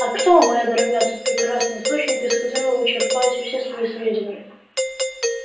а кто моя дорогая тот прекрасный источник из которого вы черпаете все свои сведения